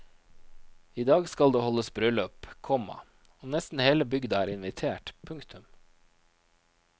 I dag skal det holdes bryllup, komma og nesten hele bygda er invitert. punktum